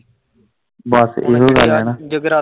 ਬਸ ਇਹੋ ਗੱਲ ਆ ਨਾ।